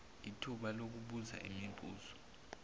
ithuba lokubuza imibuzo